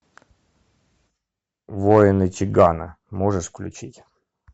воины чигана можешь включить